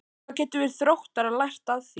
Hvað getum við Þróttarar lært af því?